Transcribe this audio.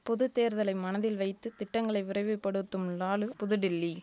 பொது தேர்தலை மனதில் வைத்து திட்டங்களை விரைவுப்படுத்தும் லாலு புதுடெல்லி